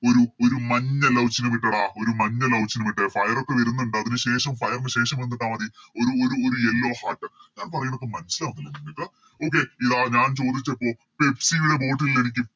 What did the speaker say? ഒരു ഒരു മഞ്ഞ Love ചിഹ്നം ഇട്ടെടാ ഒരു മഞ്ഞ Love ചിഹ്നം ഇട്ടെ Fire ഒക്കെ വരുന്നുണ്ട് അതിനു ശേഷം Fire നു ശേഷം എന്തിട്ടാ മതി ഒരു ഒരു ഒരു Yellow heart ഞാൻ പറയണത് മനസ്സിലാവുന്നില്ലെ നിങ്ങക്ക് Okay ല്ല ഞാൻ ചോദിച്ചപ്പോൾ Pepsi യുടെ Bottle ൽ എനിക്ക്